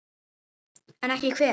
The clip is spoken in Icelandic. En ekki hver?